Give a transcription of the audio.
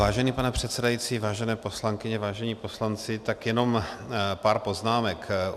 Vážený pane předsedající, vážené poslankyně, vážení poslanci, tak jenom pár poznámek.